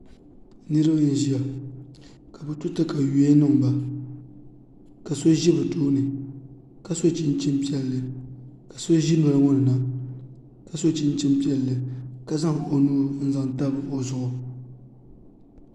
Niraba n ʒiya ka bi to katawiya niŋba ka so ʒi bi tooni ka so chinchin piɛlli ka so ʒi noli ŋo ni na ka so chinchin piɛlli ka zaŋ o nuu n zaŋ tabi o zuɣu